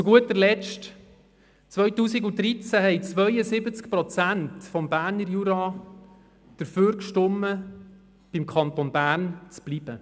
Zu guter Letzt: Im Jahr 2013 haben 72 Prozent der Stimmbevölkerung des Berner Juras einem Verbleib im Kanton Bern zugestimmt.